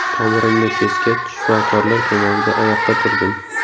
Tomirimni kesgach, shifokorlar ko‘magida oyoqqa turdim.